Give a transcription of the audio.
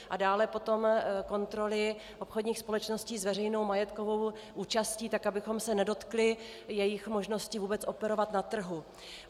A dále potom kontroly obchodních společností s veřejnou majetkovou účastí, tak abychom se nedotkli jejich možnosti vůbec operovat na trhu.